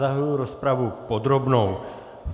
Zahajuji rozpravu podrobnou.